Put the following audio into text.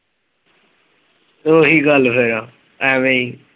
ਉਹੀ ਗੱਲ ਫਿਰ ਐਵੇਂ ਹੀ।